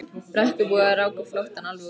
Brekkubúar ráku flóttann alveg út á brú.